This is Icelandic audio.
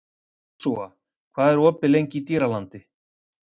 Jósúa, hvað er opið lengi í Dýralandi?